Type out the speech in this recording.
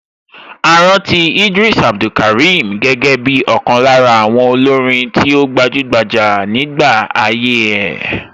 A rántí Idris Abdulkarim gẹ́gẹ́ bí ọ̀kan lára àwọn olórin tí ó gbajúgbajà nígbà ayé ẹ̀.